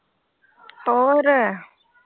ਹੋਰ।